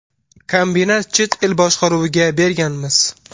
Kombinat chet el boshqaruviga berganmiz.